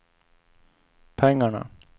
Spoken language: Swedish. pengarna